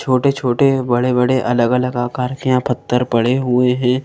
छोटे-छोटे बड़े-बड़े अलग-अलग आकार के यहाँ पत्थर पड़े हुए हैं।